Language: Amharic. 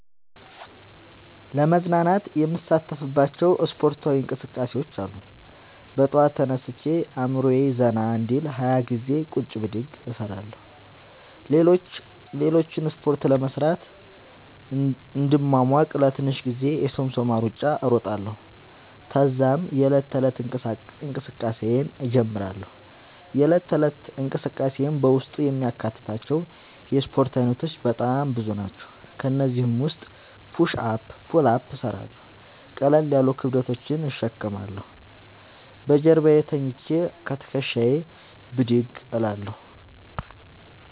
ለመዝናናት የምሣተፍባቸዉ እስፖርታዊ እንቅስቃሤዎች አሉ። በጠዋት ተነስቼ አእምሮየ ዘና እንዲል 20ገዜ ቁጭ ብድግ እሰራለሁ። ሌሎችን እስፖርቶች ለመሥራት እንድሟሟቅ ለትንሽ ጊዜ የሶምሶማ እሩጫ እሮጣለሁ። ተዛም የዕለት ተለት እንቅስቃሴየን እጀምራለሁ። የእለት ተለት እንቅስቃሴየም በውስጡ የሚያካትታቸዉ የእስፖርት አይነቶች በጣም ብዙ ናቸዉ። ከእነዚህም ዉስጥ ፑሽ አፕ ፑል አፕ እሠራለሁ። ቀለል ያሉ ክብደቶችን እሸከማለሁ። በጀርባየ ተኝቸ ከትክሻየ ብድግ እላለሁ።